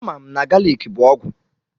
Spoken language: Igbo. A mam na galiki bụ ọgwụ.